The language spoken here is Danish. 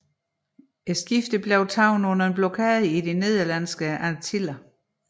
Skibet blev taget under blokade i de Nederlandske Antiller